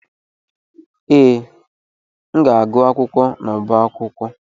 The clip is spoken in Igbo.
Ee, m ga-agụ akwụkwọ n'ọbá akwụkwọ.